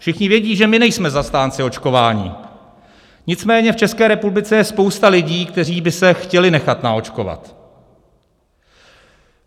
Všichni vědí, že my nejsme zastánci očkování, nicméně v České republice je spousta lidí, kteří by se chtěli nechat naočkovat.